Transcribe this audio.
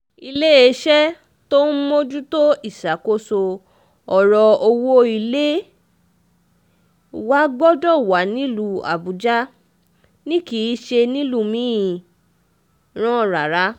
iléeṣẹ́ tó ń mójútó ìṣàkóso ọ̀rọ̀ owó ilé wa gbọ́dọ̀ wà nílùú àbújá ni kì í ṣe nílùú mìíràn rárá